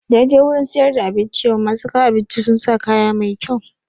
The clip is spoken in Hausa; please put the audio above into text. Da naje wurin siyar da abinci yau, masu kawo abinci sun sa kaya mai kyau